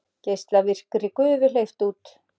Geislavirkri gufu hleypt út